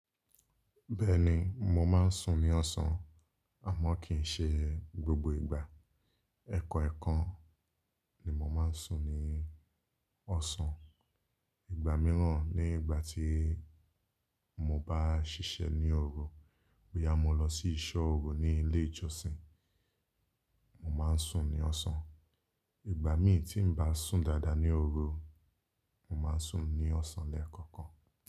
Bẹ́ẹ̀ni, mo máa ń sùn ní ọ̀sán àmọ́ kì í ṣe gbogbo ìgbà. Ẹ̀ẹ̀kọ̀ẹ̀kan ni mo máa ń sùn ní ọ̀sán. Ìgbà mìíràn nígbà tí mo bá ṣiṣẹ́ ní oru, bóyá mo lọ sí ìsọ́ oru ní ilé ìjọsìn, mo máa ń sùn ní ọ̀sán. Ìgbà mí tí n bá sùn dáadáa ní oru, mo máa ń sùn ní ọ̀sán lẹ́ẹ̀kọ̀kan.